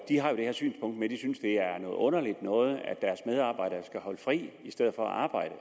har jo det her synspunkt at de synes det er noget underligt noget at deres medarbejdere skal holde fri i stedet for at arbejde